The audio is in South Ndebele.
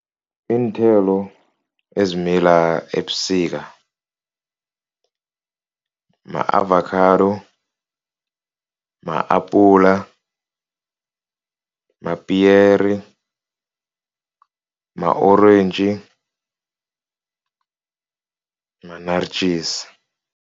Iinthelo ezimila ebusika ma-avakhado, ma-apula, mapiyeri, ma-orentji, ma-naartjies.